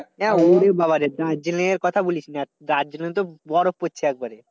ওরে বাবারে দার্জিলিং এর কথা বলিস না। দার্জিলিং এ তো বরফ পড়ছে একবারে।